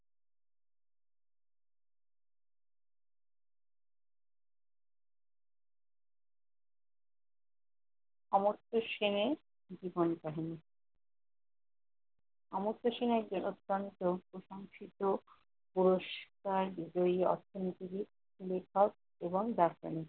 সামর্থ সেন এর জীবনকাহিনী- সামর্থ সেন এক বৃহদান্ত্র, প্রশংসিত, পুরস্কার বিজয়ী অর্থনীতিবিদ, লেখক ও দার্শনিক।